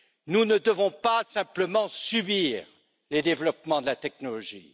Nous ne devons pas simplement subir les développements de la technologie.